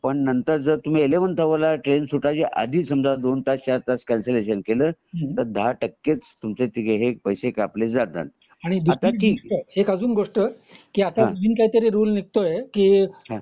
पण नंतर जर तुम्ही एलेवेंथ आवर ला ट्रेन सुटायच्या आदि समजा दोन तास चआर तास आदि कॅन्सलेशन केला एक अजून गोष्ट आता नवीन काहीतरी रूल निघतोय की तर दहा टक्केच तुमचे पैसे कापले जातात